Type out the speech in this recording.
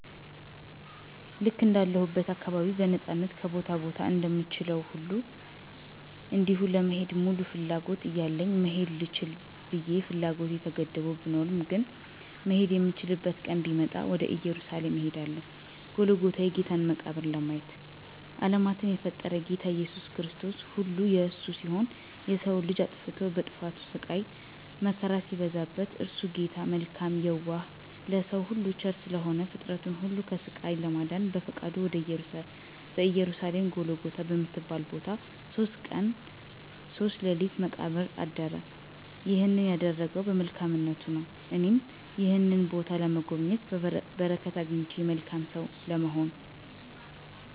ልክ እንዳለሁበት አካባቢ በነፃነት ከቦታ ቦታ እንደምችለዉ ሁሉ እንዲሁም ለመሄድ ሙሉ ፍላጎት እያለኝ መሄድ ልችል ብየ ፍላጎቴ ተገድቦ ብኖርም ግን "መሄድ የምችልበት ቀን ቢመጣ" ወደ እየሩሳሌም እሄዳለሁ"ጎልጎታን የጌታን መቃብር "ለማየት። አለማትን የፈጠረ "ጌታ ኢየሱስ ክርስቶስ"ሁሉ የእርሱ ሲሆን የሰዉ ልጅ አጥፍቶ በጥፋቱ ስቃይ መከራ ሲበዛበት <እርሱ ጌታ መልካም የዋህ ለሰዉ ሁሉ ቸር ስለሆነ>ፍጥረትን ሁሉ ከስቃይ ለማዳን በፈቃዱ በኢየሩሳሌም ጎልጎታ በምትባል ቦታ"ሶስት ቀን ሶስት ሌሊት በመቃብር "አድራል። ይህንን ያደረገዉ በመልካምነቱ ነዉ። እኔም ይህንን ቦታ በመጎብኘት በረከት አግኝቼ መልካም ሰዉ ለመሆን።